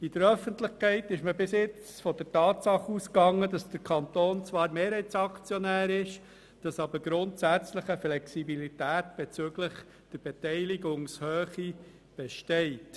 In der Öffentlichkeit ging man bisher von der Tatsache aus, dass der Kanton zwar Mehrheitsaktionär ist, aber grundsätzlich eine Flexibilität bezüglich der Beteiligungshöhe besteht.